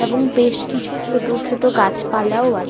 এবং বেশি কিছু কত ছোট ছোট গাছপালাও আছ--